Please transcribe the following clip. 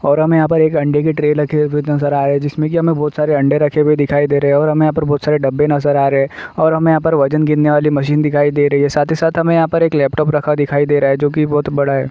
और हमें यहाँ पर एक अंडे की ट्रे रखे नजर आ रही है। जिसमें कि उसमें बहोत सारे अंडे रखे दिखाई दे रहे है और हमें यहाँ पे बहोत सारे डब्बे नजर आ रहे है और हमें यहाँ पर वजन गिनने वाली मशीन दिखाई दे रही है। साथ ही साथ हमें यहाँ पर एक लैपटॉप रखा दिखाई दे रहा है जो कि बहोत बड़ा है।